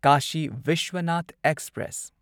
Kashi Vishwanath express